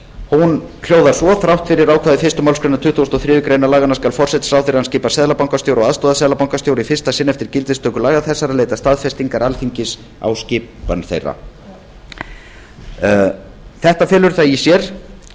hún hljóðar svo þrátt fyrir ákvæði fyrstu málsgrein tuttugustu og þriðju grein laganna skal forsætisráðherra er hann skipar seðlabankastjóra og aðstoðarseðlabankastjóra í fyrsta sinn eftir gildistöku laga þessara leita staðfestingar alþingis á skipan þeirra þetta felur það í sér